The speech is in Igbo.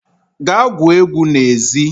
gaa gwuo egwu n'ezi